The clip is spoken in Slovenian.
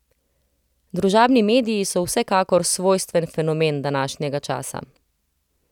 Družabni mediji so vsekakor svojstven fenomen današnjega časa.